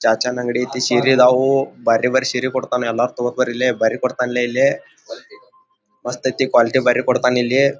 ಚಾಚಾನ ಅಂಗಡಿ ಐತಿ ಸೀರೆ ಆದವು ಬಾರಿ ಬಾರಿ ಸೀರೆ ಕೊಡತನ ಎಲ್ಲ ತೊಗೊಬರಿ ಇಲ್ಲೆ ಬಾರಿ ಕೊಡ್ತಾನೆ ಇಲ್ಲಿ ಮಸ್ತೈತಿ ಕ್ವಾಕಿಟಿ ಬಾರಿ ಕೊಡ್ತಾನೆ ಇಲ್ಲಿ .